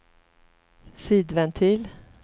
sidventil